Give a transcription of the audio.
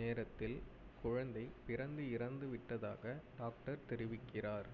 நேரத்தில் குழந்தை பிறந்து இறந்து விட்டதாக டாக்டர் தெரிவிக்கிறார்